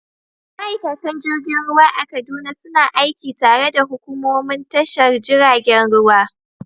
Ma’aikatan jirgin ruwa a Kaduna suna aiki tare da hukumomin tashar jiragen ruwa.